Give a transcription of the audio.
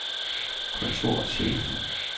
kontorchef